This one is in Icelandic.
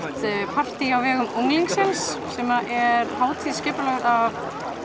partí á vegum unglingsins sem er hátíð skipulögð af